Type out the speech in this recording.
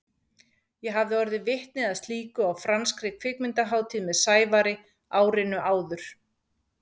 Ég hafði orðið vitni að slíku á franskri kvikmyndahátíð með Sævari árinu áður.